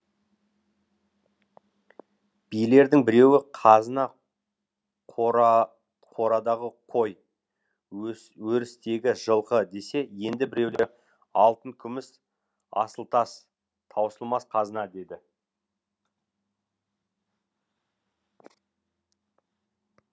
билердің біреуі қазына қорадағы қой өрістегі жылқы десе енді біреулері алтын күміс асыл тас таусылмас қазына дейді